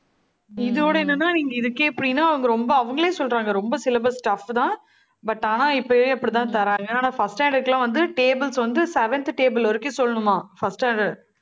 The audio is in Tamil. இதோட என்னன்னா நீங்க இதுக்கே இப்படின்னா அவங்க ரொம்ப அவங்களே சொல்றாங்க. ரொம்ப syllabus tough தான். but ஆனா இப்பயே அப்படித்தான் தர்றாங்க. ஆனா, first standard க்கு எல்லாம் வந்து tables வந்து seventh table வரைக்கும் சொல்லணுமாம். first standard